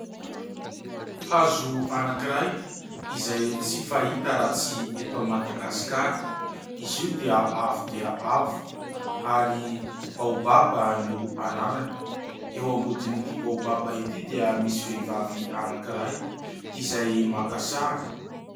Hazo anakiray izay tsy fahita raha tsy eto Madagasikara, izy io dia avo dia avo ary baobaba no anarany, eo ambodin'ity baobaba ity dia misy vehivavy anakiray izay maka sary.